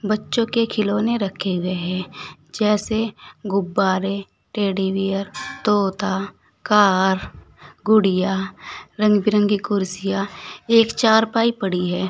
बच्चों के खिलौने रखे हुए हैं जैसे गुब्बारे टेडीबियर तोता कार गुड़िया रंग बिरंगी कुर्सियां एक चारपाई पड़ी है।